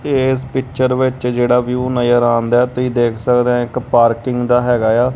ਇਸ ਪਿਚਰ ਵਿੱਚ ਜਿਹੜਾ ਵਿਊ ਨਜ਼ਰ ਆਉਂਦਾ ਤੁਸੀਂ ਦੇਖ ਸਕਦੇ ਹੈ ਇੱਕ ਪਾਰਕਿੰਗ ਦਾ ਹੈਗਾ ਆ।